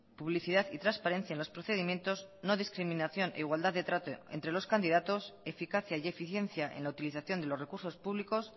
publicidad y transparencia en los procedimientos no discriminación e igualdad de trato entre los candidatos eficacia y eficiencia en la utilización de los recursos públicos